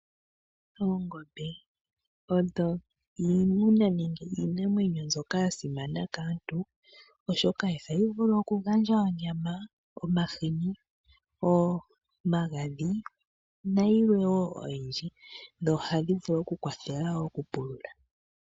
Oongombe iimuna nenge iinamwenyo mbyoka ya simana kaantu, oshoka ohayi vulu okugandja onyama, omahini , omagadhi nayilwe wo oyindji. Dho ohadhi vulu okukwathela wo okupulula.